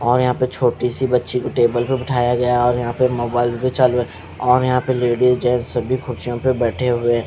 और यहां पे छोटी सी बच्ची को टेबल पे बैठाया गया और यहां पे मोबाइल भी चालू है और यहां पे लेडिस जेंट्स सभी कुर्सियों पर बैठे हुए--